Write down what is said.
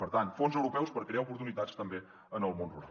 per tant fons europeus per crear oportunitats també en el món rural